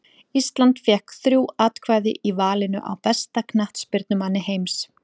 Ísland fékk þrjú atkvæði í valinu á besta knattspyrnumanni heims.